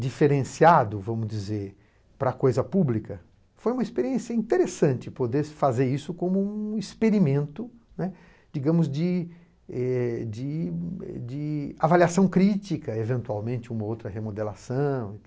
diferenciado, vamos dizer, para coisa pública, foi uma experiência interessante poder fazer isso como um experimento, né, digamos de é... de de avaliação crítica, eventualmente uma ou outra remodelação,